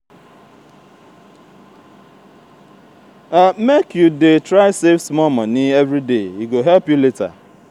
make you dey try save small moni everyday e go help you later.